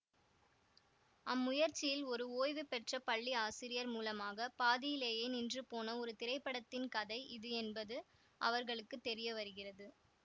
அம்முயற்சியில் ஒரு ஓய்வுபெற்ற பள்ளி ஆசிரியர் மூலமாக பாதியிலேயே நின்றுபோன ஒரு திரைப்படத்தின் கதை இது என்பது அவர்களுக்கு தெரியவருகிறது